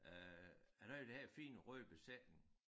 Øh han havde jo den her fine røde presenning